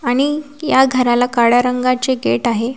आणि या घराला काळ्या रंगाचे गेट आहे.